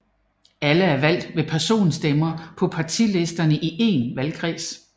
Alle er valgt ved personstemmer på partilister i én valgkreds